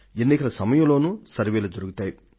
ఎన్నికల సమయంలోనూ సర్వేక్షణలు జరుగుతాయి